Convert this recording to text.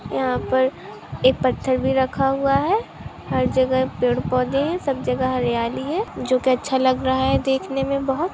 यहाँ पर एक पत्थर भी रखा हुआ है हर जगह पेड़ पौधे है सब जगह हरियाली है जो की अच्छा लग रहा है देखने में बहुत --